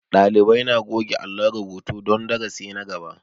Ɗalibai na goge alon rubutu don darasi na gaba